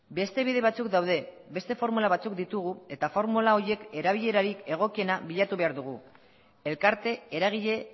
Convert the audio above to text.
beste bide batzuk daude beste formula batzuk ditugu eta formula horiek erabilerarik egokiena bilatu behar dugu elkarte eragile